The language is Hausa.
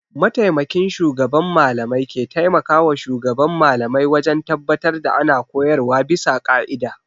Mataimakin shugaban mallamai ke taimakawa shugaban Mallamai wajen tabbatar da ana koyarwa bisa ƙa'ida.